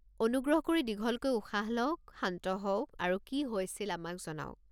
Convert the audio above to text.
অনুগ্ৰহ কৰি দীঘলকৈ উশাহ লওক, শান্ত হওক আৰু কি হৈছিল আমাক জনাওক।